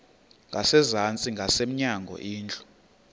ngasezantsi ngasemnyango indlu